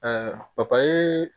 papaye